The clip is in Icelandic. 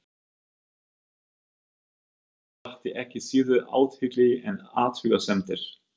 Þessi orðaflaumur hans vakti ekki síður athygli en athugasemdir